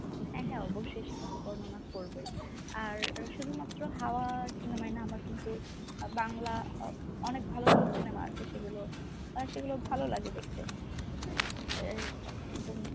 হ্যাঁ হ্যাঁ অবশ্যই সেটা তো বর্ণনা করবোই, আর শুধুমাত্র হাওয়া cinemaই না আমার কিন্তু আহ বাংলা অনেক ভালো ভালো cinema আছে সেগুলো আহ সেগুলো ভালো লাগে দেখতে এ একদম